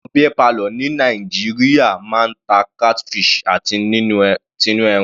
Àwọn beer parlour ni Nàìjíríà máa ń ta catfish àti tinú ẹran.